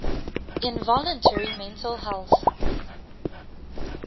involuntary mental health